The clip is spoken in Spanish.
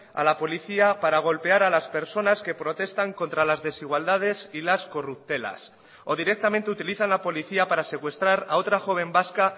a la policía para golpear a las personas que protestan contra las desigualdades y las corruptelas o directamente utilizan la policía para secuestrar a otra joven vasca